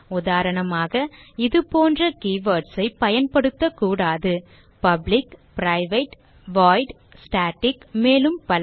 உதாரணமாக இதுபோன்ற keywords ஐ பயன்படுத்த கூடாது பப்ளிக் பிரைவேட் வாய்ட் ஸ்டாட்டிக் மேலும் பல